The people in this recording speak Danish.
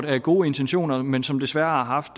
havde gode intentioner men som desværre har haft